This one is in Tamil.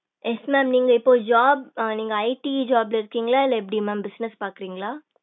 yes mam நீங்க இப்போ job ஆஹ் நீங்க ID job ல இருக்கீங்களா இல்ல எப்படி mam business பாக்கறீங்களா?